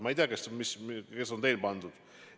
Ma ei tea, kes on teil pandud.